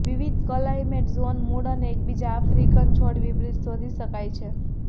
વિવિધ climate zone મૂળ અને એકબીજા આફ્રિકન છોડ વિપરીત શોધી શકાય છે